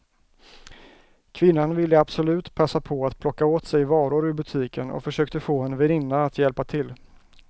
Kvinnan ville absolut passa på att plocka åt sig varor ur butiken och försökte få en väninna att hjälpa till.